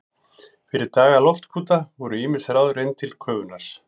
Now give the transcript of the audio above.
Fyrir daga loftkúta voru ýmis ráð reynd til köfunar.